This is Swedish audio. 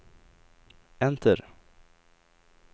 enter